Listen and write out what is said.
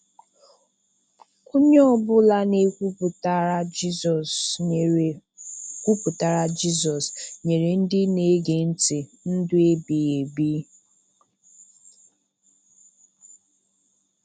Onye ọbụla nke kwupụtara Jizọs nyere kwupụtara Jizọs nyere ndị na-ege ntị ndụ ebighi ebi.